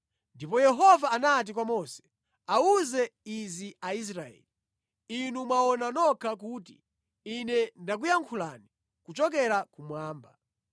Ndipo Yehova anati kwa Mose, “Awuze izi Aisraeli: ‘Inu mwaona nokha kuti Ine ndakuyankhulani kuchokera kumwamba.